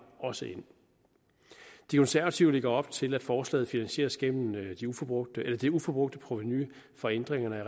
også ind de konservative lægger op til at forslaget finansieres gennem det uforbrugte det uforbrugte provenu fra ændringerne af